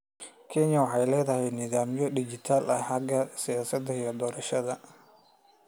Kenya waxay leedahay nidaamyo dhijitaal ah xagga siyaasadda iyo doorashooyinka.